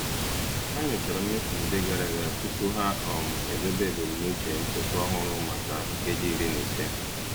Ha nyochara mmefu ndị gara aga tupu ha um edobe ebumnuche nchekwa ọhụrụ maka nkeji iri na ise.